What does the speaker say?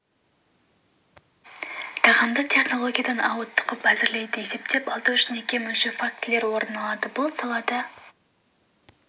бермейді тағамды технологиядан ауытқып әзірлейді есептен алдау және кем өлшеу фактілері орын алады бұл салада